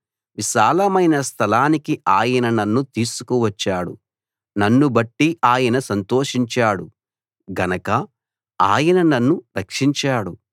విశాలమైన స్థలానికి ఆయన నన్ను తీసుకు వచ్చాడు నన్నుబట్టి ఆయన సంతోషించాడు గనక ఆయన నన్ను రక్షించాడు